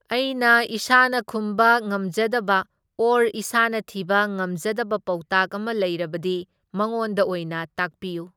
ꯑꯩꯅ ꯏꯁꯥꯅ ꯈꯨꯝꯕ ꯉꯝꯖꯗꯕ ꯑꯣꯔ ꯏꯁꯥꯅ ꯊꯤꯕ ꯉꯝꯖꯗꯕ ꯄꯥꯎꯇꯥꯛ ꯑꯃ ꯂꯩꯔꯕꯗꯤ ꯃꯉꯣꯟꯗ ꯑꯣꯏꯅ ꯇꯥꯛꯄꯤꯌꯨ꯫